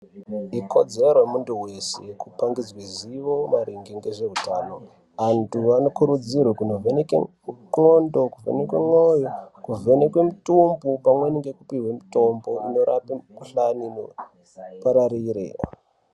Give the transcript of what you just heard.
Ikodzero yemundu weshe kupangidzwe zivo maringe ngezveutano andu anokurudzirwe kunovhenekwe ndxondo kovhenekwa mwoyo kovhenekwa mutumbu pamweni ngekupihwa mutombo inorape mikuhlani ipararire.